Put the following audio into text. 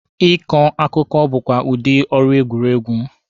Ị kọ akụkọ bụkwa udi ọrụ egwuregwu.